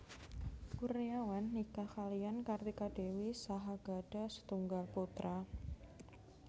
Kurniawan nikah kaliyan Kartika Dewi saha gadhah setunggal putra